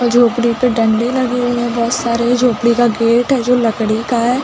झोपड़ी पे डंडी लगी हुईं हैं बोहत सारी झोपड़ी का गेट है जो लकड़ी का है।